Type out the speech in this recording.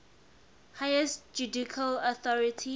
highest judicial authority